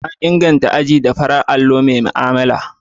An inganta azuzuwa da farin allo mai mu'amala.